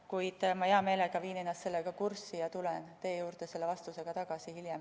Kuid hea meelega viin ennast sellega kurssi ja tulen teie juurde selle vastusega tagasi hiljem.